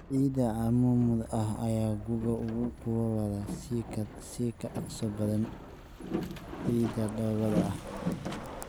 Ciida cammuudda ah ayaa guga uga kululaada si ka dhaqso badan ciidda dhoobada ah.